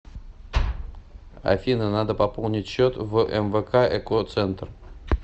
афина надо пополнить счет в мвк эко центр